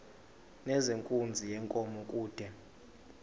nezenkunzi yenkomo kude